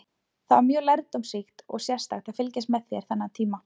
Það var mjög lærdómsríkt og sérstakt að fylgjast með þér þennan tíma.